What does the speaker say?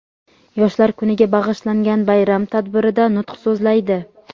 Yoshlar kuniga bag‘ishlangan bayram tadbirida nutq so‘zlaydi.